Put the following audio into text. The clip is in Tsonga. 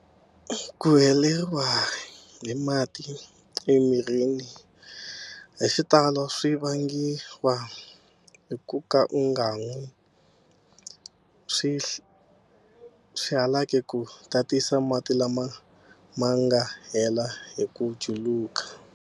Ku heleriwa hi mati emirini hi xitalo swi vangiwa hi ku ka u nga nwi swihalaki ku tatisa mati lama ma nga hela hi ku juluka.